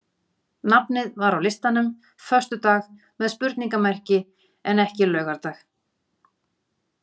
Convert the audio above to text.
Nafnið var á listanum föstudag með spurningamerki en ekki laugardag.